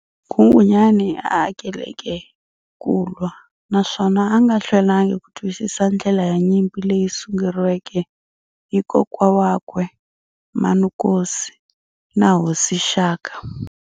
Nghunghunyani a a akeleke kulwa, naswona a nga hlwelanga ku twisisa ndlela ya nyimpi leyi sunguriweke hi kokwa wakwe Manukosi na Hosi Shaka.